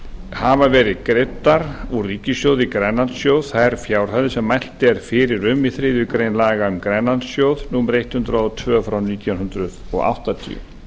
hafa verið greiddar úr ríkissjóði í grænlandssjóð þær fjárhæðir sem mælt er fyrir um í þriðju grein laga um grænlandssjóð númer hundrað og tvö nítján hundruð áttatíu